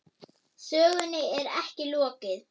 Sögunni er ekki lokið.